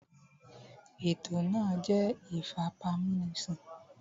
Ètò náà jẹ́ ìfipámúnisìn